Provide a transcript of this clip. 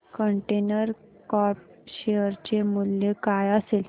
container corp share चे मूल्य काय असेल